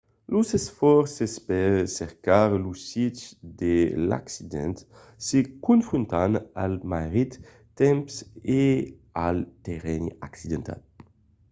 los esfòrces per cercar lo sit de l'accident se confrontan al marrit temps e al terrenh accidentat